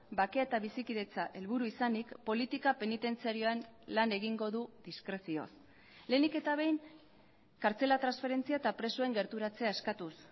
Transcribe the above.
bakea eta bizikidetza helburu izanik politika penitentziarioan lan egingo du diskrezioz lehenik eta behin kartzela transferentzia eta presoen gerturatzea eskatuz